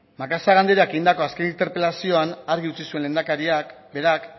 macazaga andereak egindako azken interpelazioan argi utzi zuen lehendakariak berak